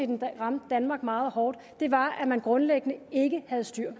den ramte danmark meget hårdt var at man grundlæggende ikke havde styr